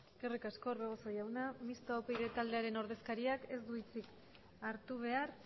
eskerrik asko orbegozo jauna mistoa upyd taldearen ordezkariak ez du hitzik hartu behar